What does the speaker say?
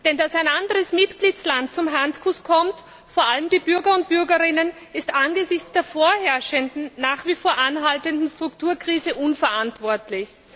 Denn dass ein anderer Mitgliedstaat zum Handkuss kommt, vor allem die Bürgerinnen und Bürger, ist angesichts der vorherrschenden, nach wie vor anhaltenden Strukturkrise unverantwortlich.